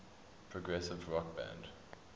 progressive rock band